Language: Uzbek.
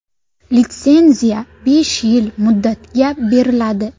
Litsenziya besh yil muddatga beriladi.